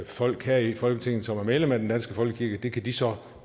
folk her i folketinget som er medlemmer af den danske folkekirke og det kan de så